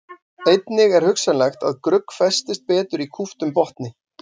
Einnig er hugsanlegt að grugg festist betur í kúptum botni.